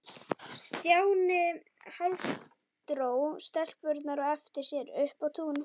Stjáni hálfdró stelpurnar á eftir sér upp á tún.